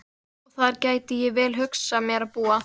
Og þar gæti ég vel hugsað mér að búa.